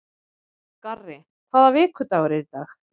Garri, hvaða vikudagur er í dag?